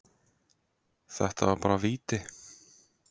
Þetta var bara víti.